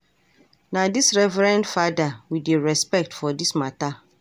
Na this reverened fada we dey respect for this mata.